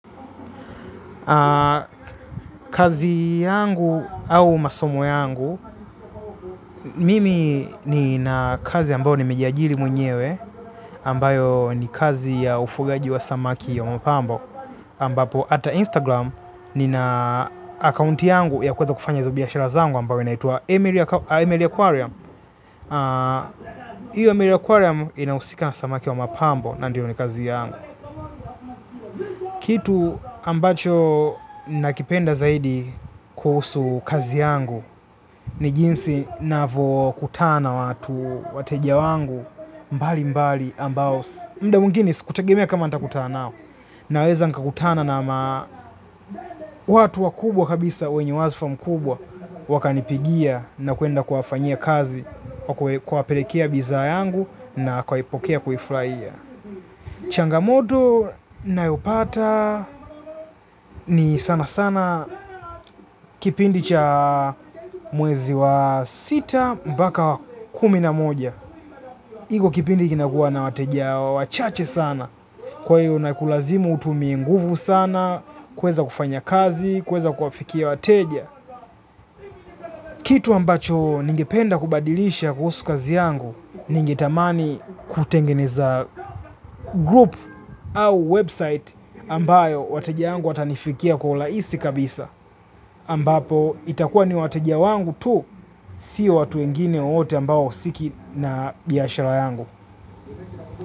Kazi yangu au masomo yangu, mimi nina kazi ambayo nimejiajiri mwenyewe ambayo ni kazi ya ufugaji wa samaki ya mapambo. Ambapo hata Instagram nina account yangu ya kuweza kufanya hizo biashara zangu ambayo inaitwa Emily Aquarium. Hiyo Emily Aquarium inahusika na samaki wa mapambo na ndio ni kazi yangu. Kitu ambacho nakipenda zaidi kuhusu kazi yangu ni jinsi navyokutana na watu wateja wangu mbalimbali ambao muda mwingine sikutegemea kama nitakutana nao. Naweza nikakutana na ma watu wakubwa kabisa wenye wazifa mkubwa wakanipigia na kuenda kuwafanyia kazi kuwapelekea bidhaa yangu na kuwaipokea kuifurahia. Changamoto nayopata ni sana sana kipindi cha mwezi wa sita mpaka wa kumi na moja. Iko kipindi kinakuwa na wateja wachache sana kwa hiyo inakulazimu utumie nguvu sana kuweza kufanya kazi, kuweza kuwafikia wateja. Kitu ambacho ningependa kubadilisha kuhusu kazi yangu ningetamani kutengeneza group au website ambayo wateja wangu watanifikia kwa urahisi kabisa. Ambapo itakuwa ni wateja wangu tu si watu wengine wowote ambao hawahusiki na biashara yangu.